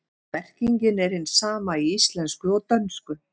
Merkingin er hin sama í íslensku og dönsku.